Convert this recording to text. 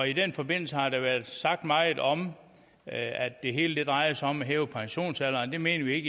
i den forbindelse har der været sagt meget om at det hele drejede sig om at hæve pensionsalderen det mener vi